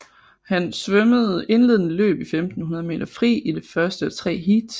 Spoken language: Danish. Han svømmede indledende løb i 1500 m fri i det første af tre heats